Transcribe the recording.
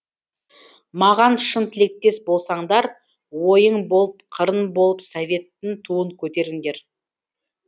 маған шын тілектес болсаңдар ойың болып қырын болып советтің туын көтеріңдер